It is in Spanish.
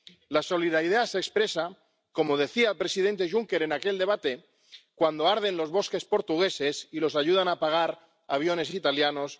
La solidaridad se expresa, como decía el presidente Juncker en aquel debate, cuando arden los bosques portugueses y los ayudan a apagar aviones italianos